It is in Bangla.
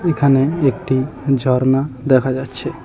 এখানে একটি ঝর্ণা দেখা যাচ্ছে।